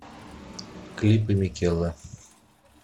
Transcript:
клипы микелла